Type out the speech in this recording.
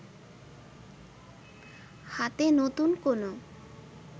হাতে নতুন কোন